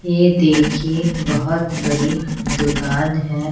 यह देखिए बहुत बरी दुकान है।